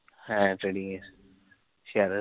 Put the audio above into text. হেঁ, trading এর share এর